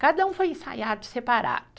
Cada um foi ensaiado separado.